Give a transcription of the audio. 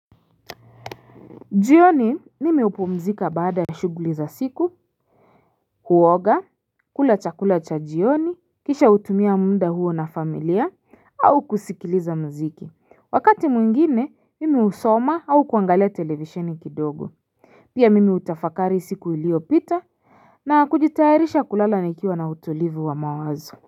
Jioni nimi upumzika baada ya shuguli za siku, huoga, kulacha kulacha jioni, kisha utumia munda huo na familia, au kusikiliza mziki, wakati mwingine mimi usoma au kuangalia televisheni kidogo. Pia mimi utafakari siku iliopita na kujitaharisha kulala nikiwa na utolivu wa mawazo.